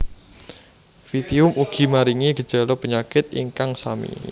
Pythium ugi maringi gejala penyakit ingkang sami